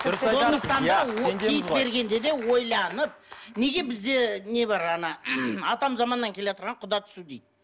дұрыс айтасыз иә киіт бергенде де ойланып неге бізде не бар ана атам заманнан келеатырған құда түсу дейді